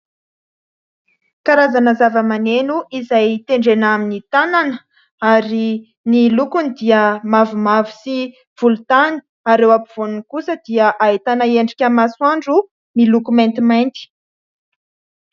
Karazana zava-maneno izay tendrena amin'ny tanana ary ny lokony dia mavomavo sy volontany, ary eo ampivoany kosa dia ahitana endrika masoandro miloko maintimainty.